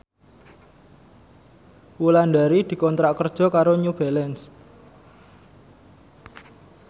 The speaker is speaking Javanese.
Wulandari dikontrak kerja karo New Balance